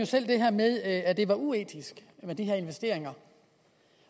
selv det her med at det var uetisk med de her investeringer